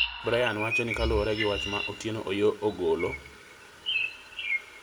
Brian wacho ni kaluore gi wach ma Otieno Oyoo ogolo